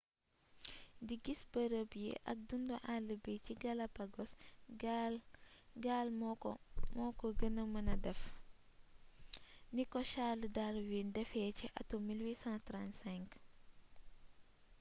di gis bërëb yi ak dundu all bi ci galapogos gaal moko gëna mënee def niko charles darwin défé ci atum 1835